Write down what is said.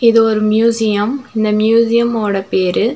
இது ஒரு மியூசியம் இந்த மியூசியம் ஓட பேரு.